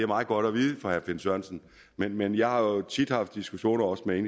meget godt at vide for herre finn sørensen men men jeg har jo tit haft diskussioner også med